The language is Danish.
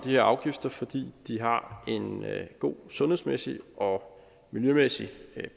her afgifter fordi de har en god sundhedsmæssig og miljømæssig